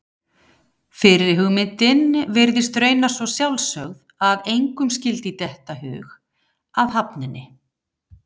Fyrri hugmyndin virðist raunar svo sjálfsögð að engum skyldi detta í hug að hafna henni.